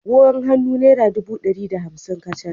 Agogon hannu naira ɗubu ɗari da hamsin kacal